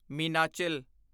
Meenachil